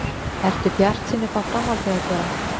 Ertu bjartsýn uppá framhaldið að gera?